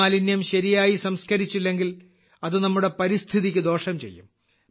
ഇമാലിന്യം ശരിയായി സംസ്കരിച്ചില്ലെങ്കിൽ അത് നമ്മുടെ പരിസ്ഥിതിക്ക് ദോഷം ചെയ്യും